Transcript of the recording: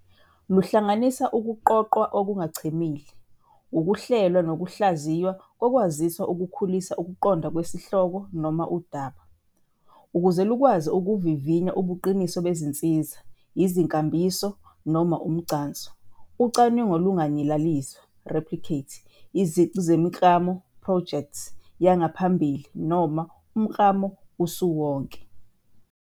Luhlanganisa ukuqoqwa okungachemile, ukuhlelwa nokuhlaziywa kokwaziswa ukukhulisa ukuqonda kwesihloko noma udaba. Ukuze lukwazi ukuvivinya ubuqiniso bezinsiza, izinkambiso, noma umgcanso, ucwaningo lunganyaliza, replicate," izici zemiklamo, projects," yangaphambili noma umklamo usiwonke.